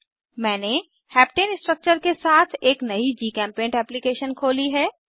मैंने heptane structure के साथ एक नयी जीचेम्पेंट एप्लीकेशन खोली है